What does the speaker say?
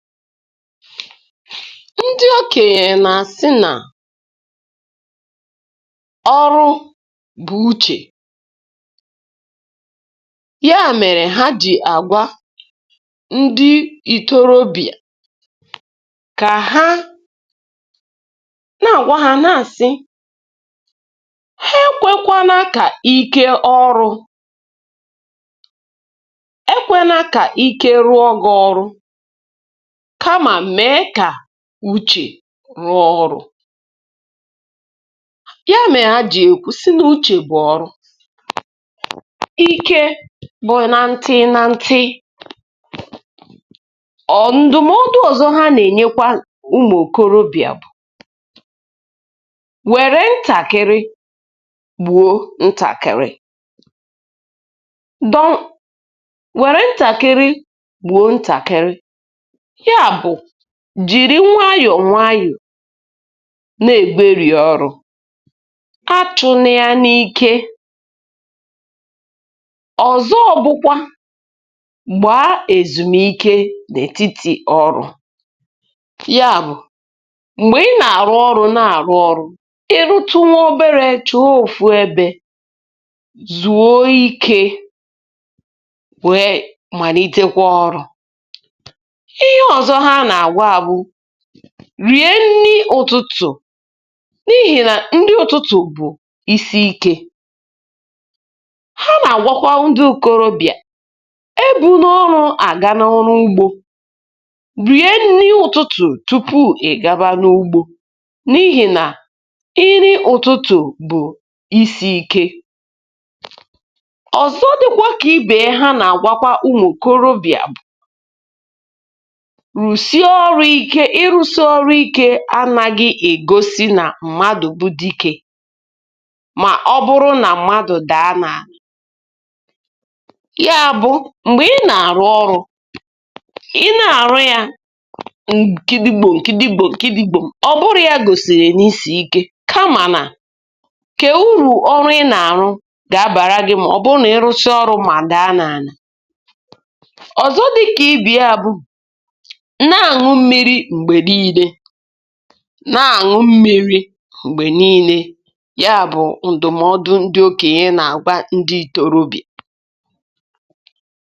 Ndị okenye na-asị na; "ọrụ bu uche", ya mere ha jì agwa ndị ịtorobịa ka ha, na àgwa ha na-asị; ha ekwekwa na kà ike ọrụ, ekwe na ka ike rụọ gì ọrụ, kámà mee ka uche rụọ ọrụ̇. Ya mère ha jị̀ ekwu̇ sị na ọ uchè bụ̀ ọrụ, ike bu na ntị na ntị. Or ǹdụ̀mọdụ ọ̀zọ ha nà-ènyekwa ụmụ̀ òkorobịà bu; wère ntàkịrị gbuo ntàkịrị, were ntakịrị gbuo ntàkịrị, ya bụ, jìri nwayọ̀ nwayọ̀ na-ègwerì ọrụ, achụ̇ na ya n’ikė. Ọzọ bụkwa, gbaa èzùmike n’ètitì ọrụ, ya bụ̀ m̀gbè i nà-àrụ ọrụ na-àrụ ọrụ, irutu nwa obere chọọ òfù ebė zùo ike wee màritekwa ọrụ̇. Ihe ọzọ ha na-agwa bu; rìe nni ụ̀tụtụ̀ n’ihì nà nri ụ̀tụtụ̀ bụ̀ isi ikė. Ha nà-àgwakwa ndi ikorobị̀à; ebuna ọnụ àga n’ọrụ ugbo, rìe nni ụ̀tụtụ̀ tupu ìgaba n’ugbȯ, n’ihì na nri ụ̀tụtụ̀ bụ̀ isi̇ ike. Ọzọ dị̀kwa kà i bè e ha nà-àgwakwa ụmụ̀ korobị̀à bụ; rusie ọrụ̇ ike, ịrụ̇si ọrụ ike anaghị ègosi nà mmadụ̀ bu dike ma ọ bụrụ na mmadụ̀ dàa n’àla. Ya bu, m̀gbè ị nà-àrụ ọrụ, Ị́ nà-àrụ ya, gidigbom, gidigbom, gidigbom, ọbụrụ ya gòsìrì n’isirì ike, kamà nà kee urù ọrụ ị nà-àrụ gà-abàra gị mà ọ̀ bụ nà ị rụsia ọrụ ma dàa n’àlà. Ọzọ dịkà ibe ya bụ nà àṅụ mmiri̇ m̀gbè niile, na añụ mmiri mgbe niile, ya bụ̇ ǹdụ̀mọdụ ndị okènye nà-àgwa ndị itorobịà.